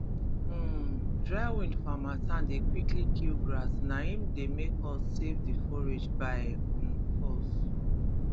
um dry wind for hamattan dey quickly kill grass na im dey make us save the forage by um force